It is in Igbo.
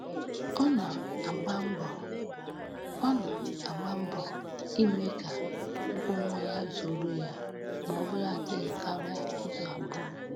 Ọ na-agba mbọ Ọ na-agba mbọ ime ka ụgwọ ọnwa ya zuoro ya maọbụladị karịa izu abụọ